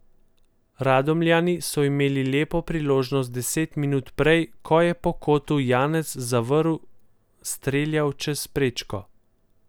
Radomljani so imeli lepo priložnost deset minut prej, ko je po kotu Janez Zavrl streljal čez prečko.